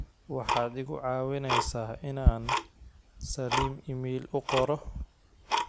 waxaad igu cawineysa in aan salim iimayl u qoro